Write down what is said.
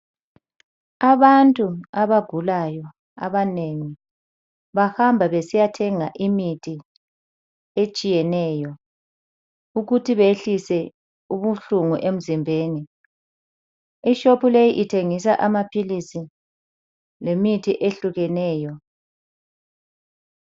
Abantu abagulayo abanengi bahamba besiya thenga imithi etshiyeneyo ukuthi behlise ubuhlungu emzimbeni ishopu leyi ithengisa amaphilisi lemithi ehlukeneyo.